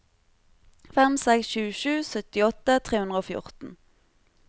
fem seks sju sju syttiåtte tre hundre og fjorten